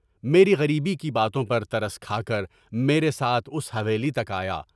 میری غریبی کی باتوں پر ترس کھا کر میرے ساتھ اس حویلی تک آیا۔